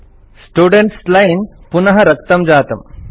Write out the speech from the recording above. students line पुनः रक्तं जातम्